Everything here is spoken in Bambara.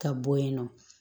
Ka bɔ yen nɔ